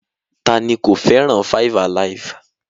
Ta ni kò fẹ́ràn 5-alive?